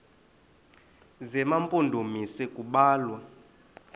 zema mpondomise kubalwa